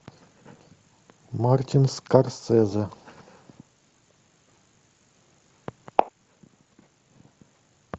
мартин скорсезе